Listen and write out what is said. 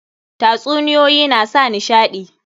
Tatsuniyoyi na sa nishaɗi.